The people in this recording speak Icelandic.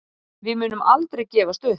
Við munum aldrei gefast upp